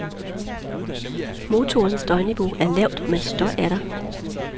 Motorens støjniveau er lavt, men støj er der.